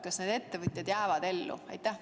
Kas need ettevõtjad jäävad ellu?